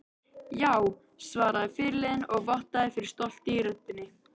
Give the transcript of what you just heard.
Já, svaraði fyrirliðinn og vottaði fyrir stolti í röddinni.